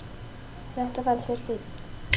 Þetta fannst mér fínt.